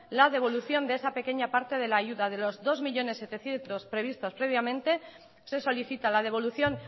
la devolución de esa pequeña parte de la ayuda de los dos millónes setecientos mil previstos previamente se solicita la devolución